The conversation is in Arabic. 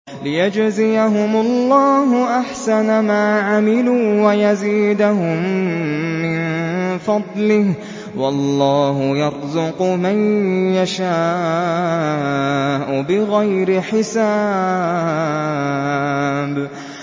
لِيَجْزِيَهُمُ اللَّهُ أَحْسَنَ مَا عَمِلُوا وَيَزِيدَهُم مِّن فَضْلِهِ ۗ وَاللَّهُ يَرْزُقُ مَن يَشَاءُ بِغَيْرِ حِسَابٍ